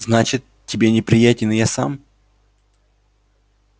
значит тебе неприятен и я сам